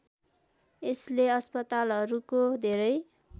यसले अस्पतालाहरूको धेरै